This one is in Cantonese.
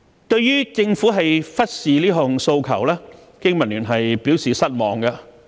對於政府忽視這項訴求，經民聯表示失望。